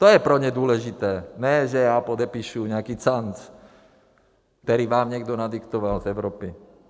To je pro ně důležité, ne, že já podepíšu nějaký canc, který vám někdo nadiktoval v Evropě.